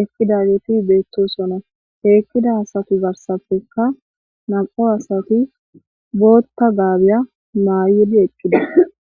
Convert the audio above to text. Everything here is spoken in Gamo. ekidageti beettosona heekkida asati garsafekka nam7o asati bootta gaabiya maayidi eqqida